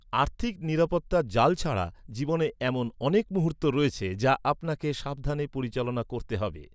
আর্থিক নিরাপত্তার জাল ছাড়া, জীবনে এমন অনেক মুহূর্ত রয়েছে যা আপনাকে সাবধানে পরিচালনা করতে হবে।